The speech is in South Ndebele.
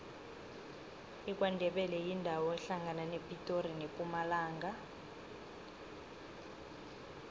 ikwandebele yindawo ehlangana nepitori nempumalanga